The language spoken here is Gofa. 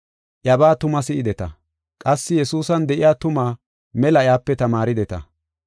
Iyabaa tuma si7ideta. Qassi Yesuusan de7iya tumaa mela iyape tamaarideta.